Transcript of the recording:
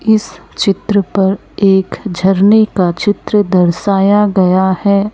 इस चित्र पर एक झरने का चित्र दर्शाया गया है।